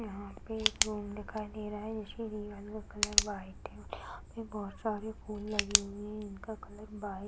यहाँ पे एक रूम दिखाई दे रहा है जिसके दीवार का कलर वाइट है और यहाँ पे बहुत सारे फूल लगे हुए हैं जिनका कलर वाइट --